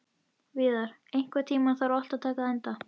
Víðar, einhvern tímann þarf allt að taka enda.